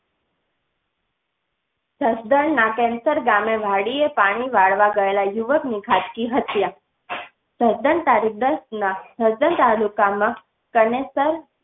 જસદણ ના કેન્સર ગામે વાડીએ પાણી વાળવા ગયેલા યુવક ની ઘાતકી હત્યા. જસદણ તાલુકામાં ગણેશ તર